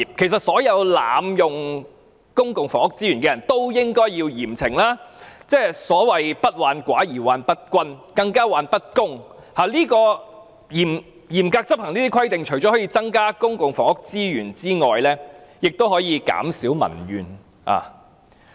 其實所有濫用公共房屋資源的人也應該嚴懲，所謂不患寡而患不均，更是患不公，而嚴格執行這些規定除可增加公共房屋資源外，亦可減少民怨。